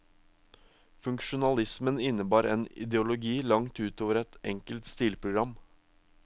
Funksjonalismen innebar en ideologi langt ut over et enkelt stilprogram.